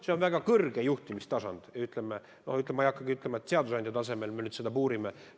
See on väga kõrge juhtimistasand, aga ma ei hakka ütlema, et me seadusandja tasemel seda puurime.